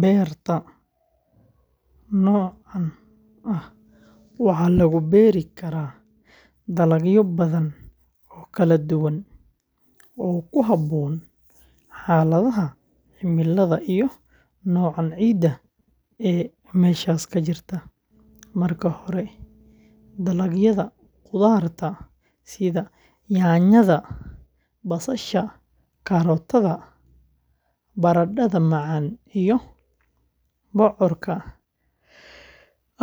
Beerta noocaan ah waxaa lagu beeri karaa dalagyo badan oo kala duwan oo ku habboon xaaladaha cimilada iyo nooca ciidda ee meeshaas ka jirta. Marka hore, dalagyada qudaarta sida yaanyada, basasha, karootada, baradhada macaan iyo bocorka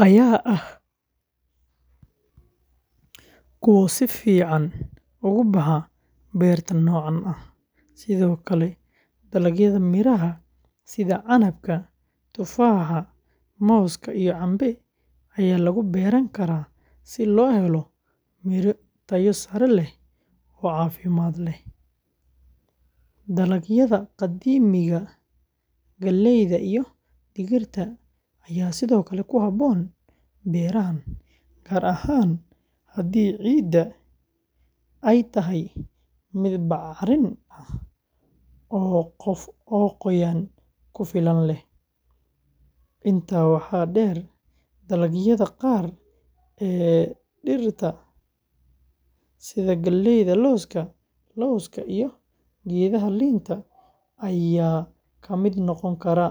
ayaa ah kuwo si fiican uga baxa beerta noocaan ah. Sidoo kale, dalagyada miraha sida canabka, tufaaxa, mooska iyo cambe ayaa lagu beeran karaa si loo helo miro tayo sare leh oo caafimaad leh. Dalagyada qamadiga, galleyda iyo digirta ayaa sidoo kale ku habboon beerahan, gaar ahaan haddii ciidda ay tahay mid bacrin ah oo qoyaan ku filan leh. Intaa waxaa dheer, dalagyada qaar ee dhirta dhirta sida geedaha lawska, lowska, iyo geedaha liinta ayaa ka mid noqon kara.